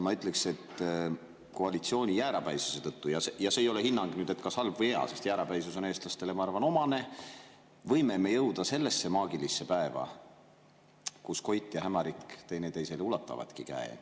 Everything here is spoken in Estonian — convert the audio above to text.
Ma ütleksin, et koalitsiooni jäärapäisuse tõttu – ja see ei ole hinnang, kas see on halb või hea, sest jäärapäisus on eestlastele omane – võime me jõuda ka sellesse maagilisse päeva, kus Koit ja Hämarik ulatavadki teineteisele käe.